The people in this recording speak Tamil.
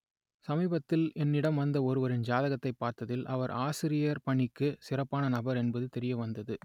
சமீபத்தில் என்னிடம் வந்த ஒருவரின் ஜாதகத்தைப் பார்த்ததில் அவர் ஆசிரியர் பணிக்கு சிறப்பான நபர் என்பது தெரியவந்தது